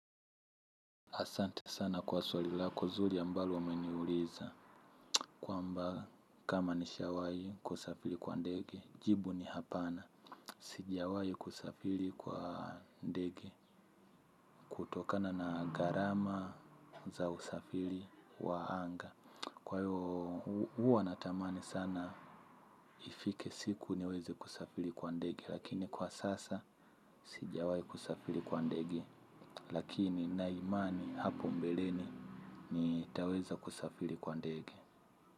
Asante sana kwa swalilako nzuri ambalo ume niuliza. Kwamba kama ni shawai kusafiri kwa ndege. Jibu ni hapana. Sijawai kusafiri kwa ndege. Utokana na gharama za usafiri waanga. Kwa hiyo uwa natamani sana ifike siku niweze kusafiri kwa ndege. Lakini kwa sasa sijawai kusafiri kwa ndege. Lakini na imani hapo mbeleni. Nitaweza kusafiri kwa ndege.